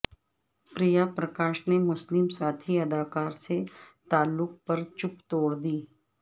پریا پرکاش نے مسلم ساتھی اداکار سے تعلق پر چپ توڑ دی